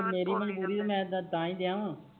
ਮੇਰੀ ਮਜਬੂਰੀ ਆ ਤਾਹਿ ਕਯਾ ਮੈ